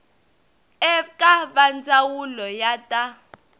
eka va ndzawulo ya ta